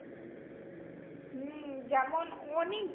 হম যেমন অনেক